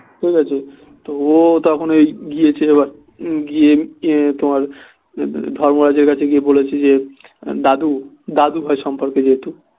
ঠিকাছে ও তখন ওই গিয়েছে গিয়ে তোমার ধর্মরাজের কাছে গিয়ে বলেছে দাদু দাদু হয় সম্পর্কে যেহেতু